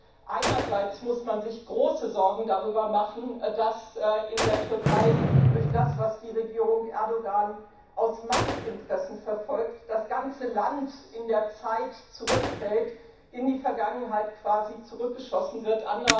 Denn einerseits muss man sich große Sorgen darüber machen, dass in der Türkei durch das, was die Regierung Erdogan aus Machtinteressen verfolgt, das ganze Land in der Zeit zurückfällt, quasi in die Vergangenheit zurückgeschossen wird.